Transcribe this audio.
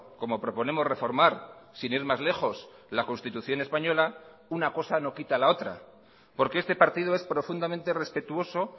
como proponemos reformar sin ir más lejos la constitución española una cosa no quita a la otra porque este partido es profundamente respetuoso